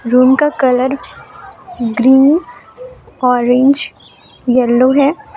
Room का colour green orange yellow है।